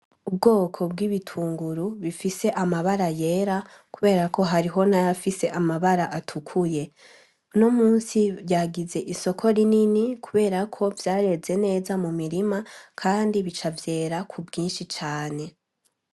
Ubwoko bw'ibitunguru bifise amabara yera, kubera ko hariho nayoafise amabara atukuye no musi ryagize isoko rinini kuberako vyareze neza mu mirima, kandi bica avyera ku bwinshi cane.